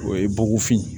O ye bɔgɔfin ye